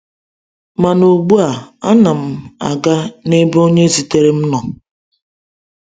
Mana ugbu a, ana m aga n’ebe onye zitere m nọ…